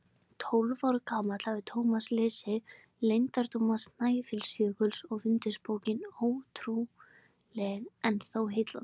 Tólf ára gamall hafði Thomas lesið Leyndardóma Snæfellsjökuls og fundist bókin ótrúleg en þó heillandi.